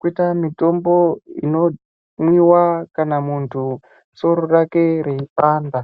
koita mitombo inomwiwa kana soro rake reipanda.